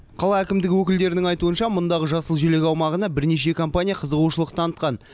қала әкімдігі өкілдерінің айтуынша мұндағы жасыл желек аумағына бірнеше компания қызығушылық танытқан